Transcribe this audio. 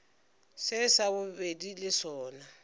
se sa bobedi le sona